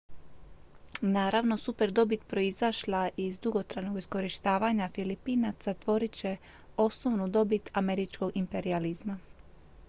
naravno superdobit proizašla iz dugotrajnog iskorištavanja filipinaca tvorit će osnovnu dobit američkog imperijalizma